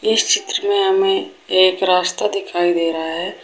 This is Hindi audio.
इस चित्र में हमें एक रास्ता दिखाई दे रहा है।